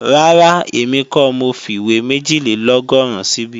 Rárá, èmi kọ́ mo fìwé méjìlélọ́gọ́rùn síbí